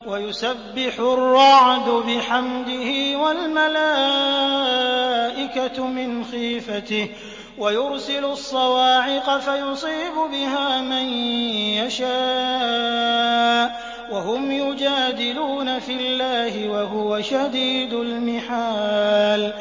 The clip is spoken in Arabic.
وَيُسَبِّحُ الرَّعْدُ بِحَمْدِهِ وَالْمَلَائِكَةُ مِنْ خِيفَتِهِ وَيُرْسِلُ الصَّوَاعِقَ فَيُصِيبُ بِهَا مَن يَشَاءُ وَهُمْ يُجَادِلُونَ فِي اللَّهِ وَهُوَ شَدِيدُ الْمِحَالِ